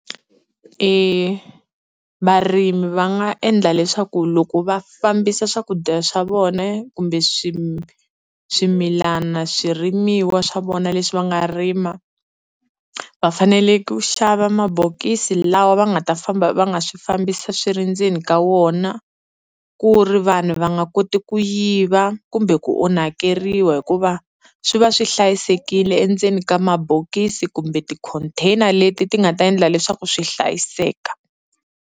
Varimi va nga endla leswaku loko va fambisa swakudya swa vona kumbe swimilana, swirimiwa swa vona leswi va nga rima, va fanele ku xava mabokisi lawa va nga ta famba va nga swi fambisa swi ri ndzeni ka wona ku ri vanhu va nga koti ku yiva kumbe ku onhakeriwa, hikuva swi va swi hlayisekile endzeni ka mabokisi kumbe ti-container leti ti nga ta endla leswaku swi hlayiseka.